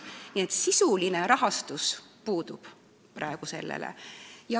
Nii et sisuline rahastus sellel praegu puudub.